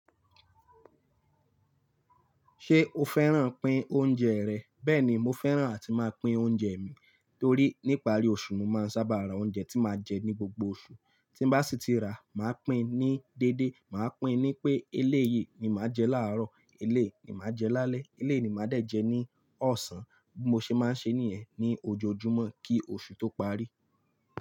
Ṣé o fẹ́ràn pín oúnjẹ rẹ̀? Bẹ́ẹ̀ni, mo fẹ́ràn àti máa pín oúnjẹ mi torí níparí oṣù ni mo máa ń sábà ra oúnjẹ tí máa jẹ ní gbogbo oṣù. Tín bá sì ti ra, màá pín ní dédé. Màá pín ní pé eléyìí ni màá jẹ láàárọ̀, eléyìí ni màá jẹ lálẹ́, eléyìí ni màá dè jẹ ní ọ̀sán. Bí mo ṣe máa ń ṣe nìyẹn ní ojoojúmọ́ kí oṣù tó parí.